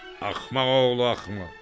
Axmaq oğlu axmaq!